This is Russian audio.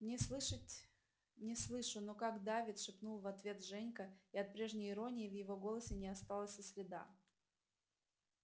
не слышать не слышу но как-то давит шепнул в ответ женька и от прежней иронии в его голосе не осталось и следа